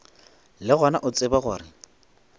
le gona o tsebe gore